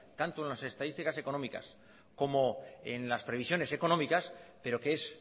tanto en las estadísticas económicas como en las previsiones económicas pero que es